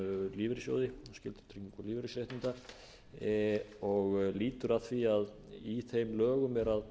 lífeyrissjóði skyldutryggingu lífeyrisréttinda og lýtur að því að í þeim lögum að